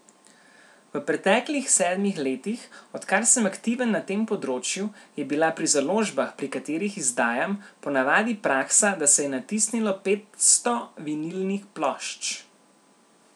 V preteklih sedmih letih, odkar sem aktiven na tem področju, je bila pri založbah, pri katerih izdajam, ponavadi praksa, da se je natisnilo petsto vinilnih plošč.